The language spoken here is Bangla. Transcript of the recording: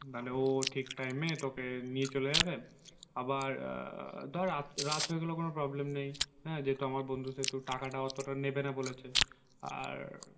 তাহলে ও ঠিক time এ তোকে নিয়ে চলে যাবে। আবার ধর রাত হয়ে গেলেও কোনো problem নেই হ্যাঁ যেহেতু আমার বন্ধু সেহেতু টাকাটা অতটা নেবে না বলেছে আর